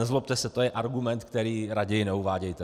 Nezlobte se, to je argument, který raději neuvádějte.